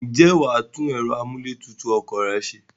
Ǹjẹ́ wà á tún ẹ̀rọ amúlé tutù ọkọ̀ rẹ se?